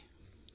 நன்றி